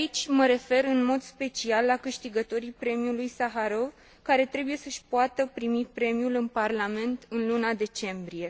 Mă refer aici în mod special la câștigătorii Premiului Saharov, care trebuie să își poată primi premiul în Parlament, în luna decembrie.